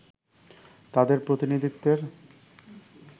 তাদের প্রতিনিধিত্বের